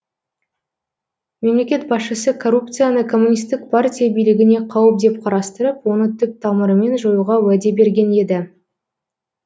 мемлекет басшысы коррупцияны коммунистік партия билігіне қауіп деп қарастырып оны түп тамырымен жоюға уәде берген еді